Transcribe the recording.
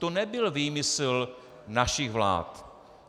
To nebyl výmysl našich vlád.